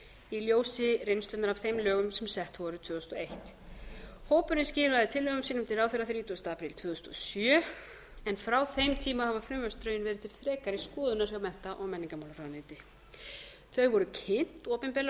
í ljósi reynslunnar af þeim lögum sem sett voru tvö þúsund og einn hópurinn skilaði tillögum sínum til ráðherra þrítugasta apríl tvö þúsund og sjö en frá þeim tíma hafa frumvarpsdrögin verið til frekari skoðunar hjá mennta og menningarmálaráðuneyti þau voru kynnt opinberlega á